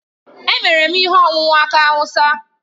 Emere m ihe ọṅụṅụ aki awụsa.